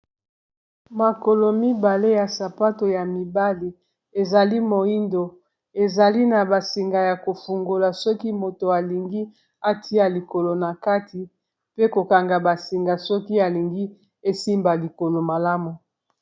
Makolo mibale ya sapato ya mibale ezali moyindo ezali na ba singa ya ko fungola soki moto alingi atia likolo na kati pe ko kanga ba singa soki alingi esimba likolo malamu.